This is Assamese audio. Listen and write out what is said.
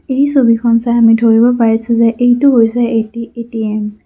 এই ছবিখন চাই আমি ধৰিব পাৰিছোঁ যে এইটো হৈছে এটি এ_টি_এম ।